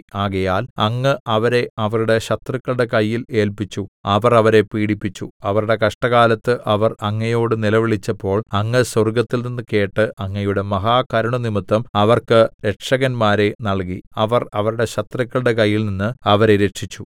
ആകയാൽ അങ്ങ് അവരെ അവരുടെ ശത്രുക്കളുടെ കയ്യിൽ ഏല്പിച്ചു അവർ അവരെ പീഡിപ്പിച്ചു അവരുടെ കഷ്ടകാലത്ത് അവർ അങ്ങയോട് നിലവിളിച്ചപ്പോൾ അങ്ങ് സ്വർഗ്ഗത്തിൽനിന്ന് കേട്ട് അങ്ങയുടെ മഹാകരുണ നിമിത്തം അവർക്ക് രക്ഷകന്മാരെ നൽകി അവർ അവരുടെ ശത്രുക്കളുടെ കയ്യിൽനിന്ന് അവരെ രക്ഷിച്ചു